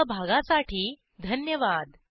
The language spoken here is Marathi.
सहभागासाठी धन्यवाद